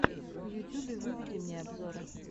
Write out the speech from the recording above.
в ютюбе выведи мне обзоры